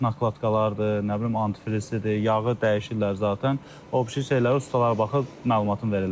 Nakladkalardır, nə bilim antifrizidir, yağı dəyişirlər zatən, o birşi şeylərə ustalar baxıb məlumatın verirlər.